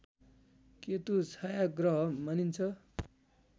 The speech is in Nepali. केतु छायाँग्रह मानिन्छ